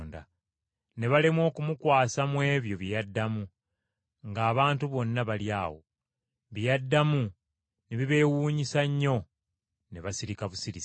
Ne balemwa okumukwasa mu ebyo bye yaddamu ng’abantu bonna bali awo. Bye yaddamu ne bibeewuunyisa nnyo, ne basirika busirisi.